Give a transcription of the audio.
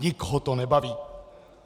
Nikoho to nebaví!